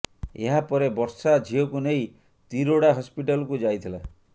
ଏହା ପରେ ବର୍ଷା ଝିଅକୁ ନେଇ ତିରୋଡା ହସ୍ପିଟାଲ୍କୁ ଯାଇଥିଲା